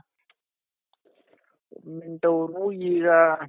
government ಅವ್ರು ಈಗ